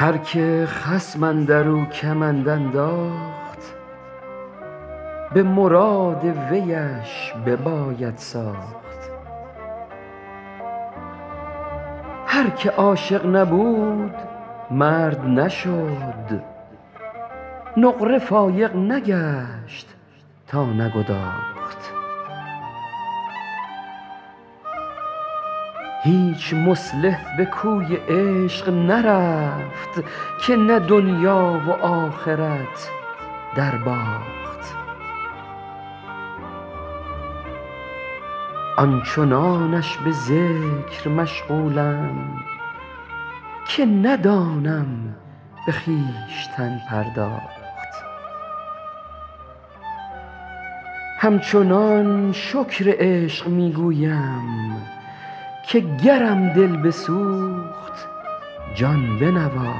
هر که خصم اندر او کمند انداخت به مراد ویش بباید ساخت هر که عاشق نبود مرد نشد نقره فایق نگشت تا نگداخت هیچ مصلح به کوی عشق نرفت که نه دنیا و آخرت درباخت آن چنانش به ذکر مشغولم که ندانم به خویشتن پرداخت همچنان شکر عشق می گویم که گرم دل بسوخت جان بنواخت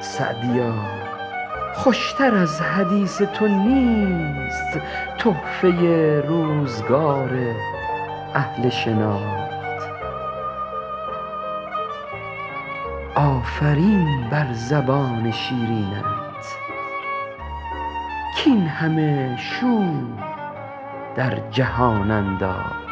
سعدیا خوش تر از حدیث تو نیست تحفه روزگار اهل شناخت آفرین بر زبان شیرینت کاین همه شور در جهان انداخت